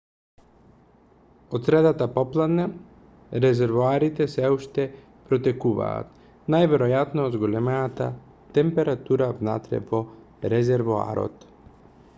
од средата попладне резервоарите сѐ уште протекуваа најверојатно од зголемената температура внатре во резервоарот